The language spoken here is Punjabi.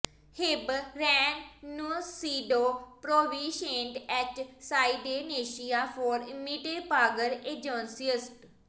ਹੇਬੇਰ ਰੈਨੁਨਸੀਡੋ ਪ੍ਰੋਵਿੰਸ਼ੀਏਟ ਐੱਚ ਸਾਈਡਡੇਨੇਸ਼ੀਆ ਫਾਰ ਇਮੀਟਰ ਪਾਗਰ ਇੰਜਿਓਸਟਸ